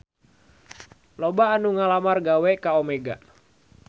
Loba anu ngalamar gawe ka Omega